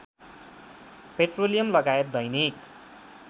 petroleum लगायत दैनिक